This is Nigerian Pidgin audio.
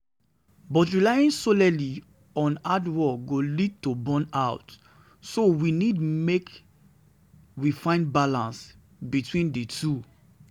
But relying solely on hard work go lead to burnout, so we need make we find balance between between di two.